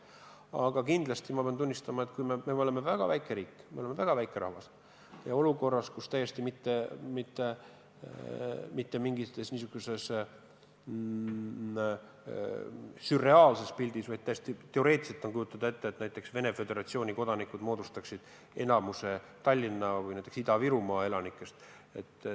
Aga samas pean tunnistama, et kuna me oleme väga väike riik, me oleme väga väike rahvas, siis kujutame ette üldse mitte sürrealistlikku pilti, vaid teoreetiliselt täiesti võimalikku olukorda, et näiteks Venemaa Föderatsiooni kodanikud moodustaksid enamuse Tallinna või Ida-Virumaa elanikest.